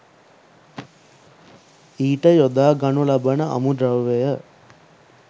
ඊට යොදා ගනු ලබන අමුද්‍රව්‍ය